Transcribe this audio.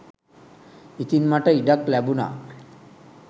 ඉතින් මට ඉඩක් ලැබුණා